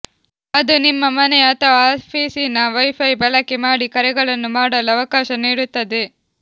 ಅದು ನಿಮ್ಮ ಮನೆಯ ಅಥವಾ ಆಫೀಸಿನ ವೈಫೈ ಬಳಕೆ ಮಾಡಿ ಕರೆಗಳನ್ನು ಮಾಡಲು ಅವಕಾಶ ನೀಡುತ್ತದೆ